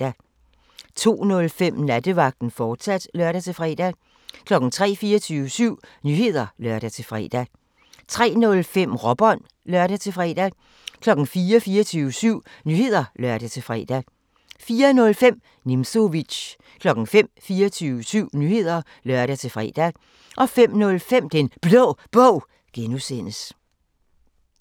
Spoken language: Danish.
02:05: Nattevagten, fortsat (lør-fre) 03:00: 24syv Nyheder (lør-fre) 03:05: Råbånd (lør-fre) 04:00: 24syv Nyheder (lør-fre) 04:05: Nimzowitsch 05:00: 24syv Nyheder (lør-fre) 05:05: Den Blå Bog (G)